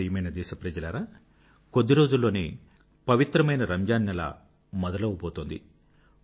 నా ప్రియమైన దేశప్రజలారా కొద్దిరోజుల్లోనే పవిత్రమైన రంజాన్ నెల మొదలవబోతోంది